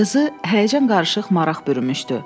Qızı həyəcan-qarışıq maraq bürümüşdü.